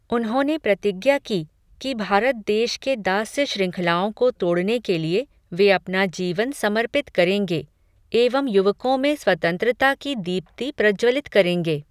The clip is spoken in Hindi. उन्होंने प्रतिज्ञा की, कि भारत देश की दास्य शृँखलाओं को तोड़ने के लिए, वे अपना जीवन समर्पित करेंगे, एवं युवकों में स्वतंत्रता की दीप्ति प्रज्वलित करेंगे